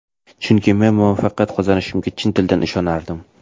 Chunki men muvaffaqiyat qozonishimga chin dildan ishonardim”.